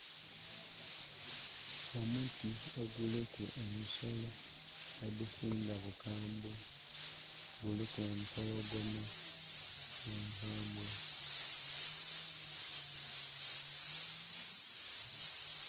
Omuti oguliku ensolo edisinga bukambwe. Guliku empologoma enkambwe